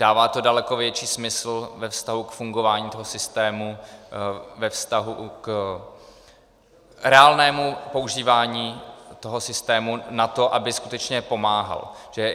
Dává to daleko větší smysl ve vztahu k fungování toho systému, ve vztahu k reálnému používání toho systému na to, aby skutečně pomáhal.